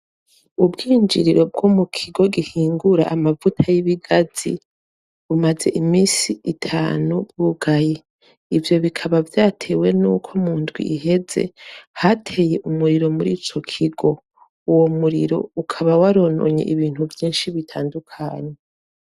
Ubwinjiriro bwo mu kigo gihingura amavuta y'ibigazi bumaze imisi itanu bugaye ivyo bikaba vyatewe n' uko mu ndwi iheze hateye umuriro muri ico kigo uwo muriro ukaba warononye ibintu vyinshi bitandukanye.